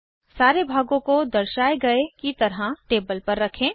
सारे भागों को दर्शाये गए की तरह टेबल पर रखें